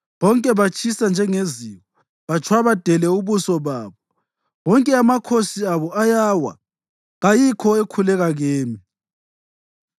Bonke batshisa njengeziko; batshwabadele ababusi babo. Wonke amakhosi abo ayawa, kayikho ekhuleka kimi.